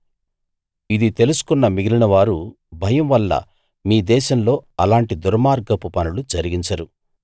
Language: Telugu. ఇది తెలుసుకున్న మిగిలినవారు భయం వల్ల మీ దేశంలో అలాంటి దుర్మార్గపు పనులు జరిగించరు